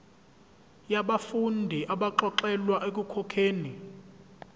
yabafundi abaxolelwa ekukhokheni